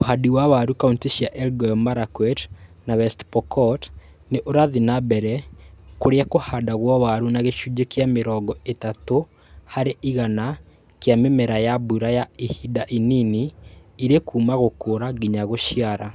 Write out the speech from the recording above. Uhandi wa waru kauntĩ cia Elgeyo Marakwet na West Pokot niurathiĩ na mbere kũrĩa kũhandagwo waru na gĩcunjĩ kĩa mĩrongo ĩtatũ harĩ igana kĩa mĩmera ya mbura ya ihinda inini irĩ kuuma gũkũra nginya gũciara